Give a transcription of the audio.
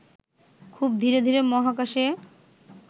খুব ধীরে ধীরে মহাকাশে